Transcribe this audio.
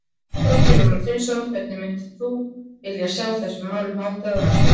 Þorgeir Rúnar Finnsson: Hvernig myndir þú vilja sjá þessum málum háttað á næstunni?